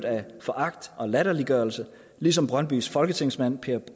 foragt og latterliggørelse ligesom brøndbys folketingsmand per